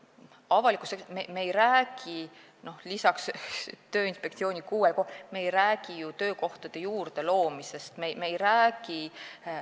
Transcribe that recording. Avalikus sektoris me ei räägi lisaks Tööinspektsiooni kuuele kohale töökohtade juurdeloomisest, me ei räägi ...